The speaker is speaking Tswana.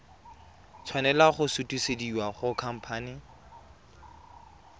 tshwanela go sutisediwa go khamphane